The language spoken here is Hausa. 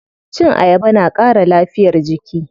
Cin ayaba na ƙara lafiyar jiki.